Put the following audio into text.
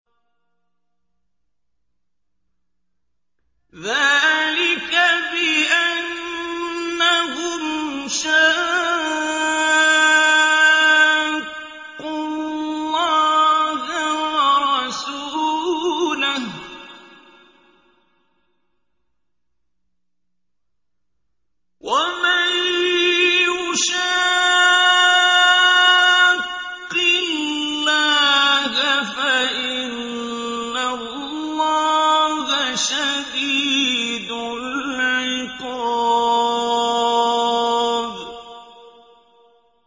ذَٰلِكَ بِأَنَّهُمْ شَاقُّوا اللَّهَ وَرَسُولَهُ ۖ وَمَن يُشَاقِّ اللَّهَ فَإِنَّ اللَّهَ شَدِيدُ الْعِقَابِ